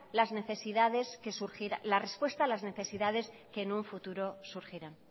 la respuesta a las necesidades que un futuro surgirán